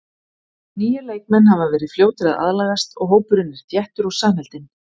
Nýir leikmenn hafa verið fljótir að aðlagast og hópurinn er þéttur og samheldinn.